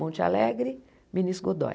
Monte Alegre, Minas Godói.